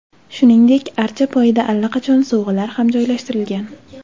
Shuningdek, archa poyida allaqachon sovg‘alar ham joylashtirilgan.